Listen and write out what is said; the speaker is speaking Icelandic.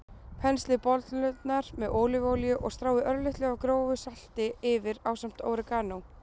Penslið bollurnar með ólívuolíu og stráið örlitlu af grófu salti yfir ásamt óreganó.